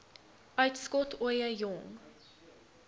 uitskot ooie jong